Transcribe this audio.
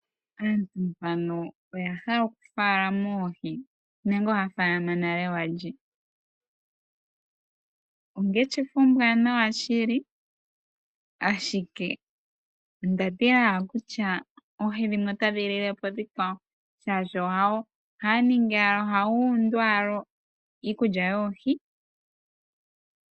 Aantu mbano oya hala okufalama oohi nenge ohaya falama nale walye. Ongeshefa ombwanawa shiliashike ondatila owala kutya oohi ndino otadhi lile po oonkwawo shaashi ohaya gundu owala iikulya yoohi.